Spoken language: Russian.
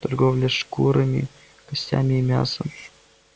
торговля шкурами костями и мясом